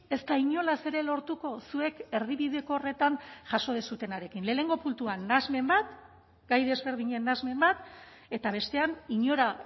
ez da inolaz ere lortuko zuek erdibideko horretan jaso duzuenarekin lehenengo puntuan nahasmen bat gai desberdinen nahasmen bat eta bestean inora